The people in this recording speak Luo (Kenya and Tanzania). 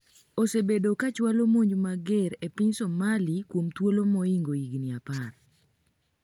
osebedo ka chwalo monj mager e piny Somali kuom thuolo moingo higni apar